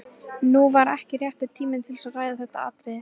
Nú var ekki rétti tíminn til að ræða þetta atriði.